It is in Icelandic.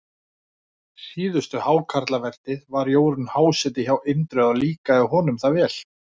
síðustu hákarlavertíð var Jórunn háseti hjá Indriða og líkaði honum það vel.